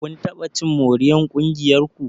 Kun taɓa cin moriyar ƙungiyar ku?